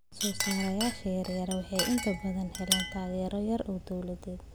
Soosaarayaasha yaryar waxay inta badan helaan taageero yar oo dawladeed.